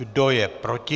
Kdo je proti?